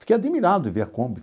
Fiquei admirado de ver a Kombi.